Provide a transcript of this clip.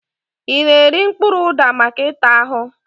I na-eri mkpụrụ ụda maka ịta ahụ?